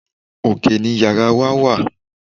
Òkè ni yàrá wa wà.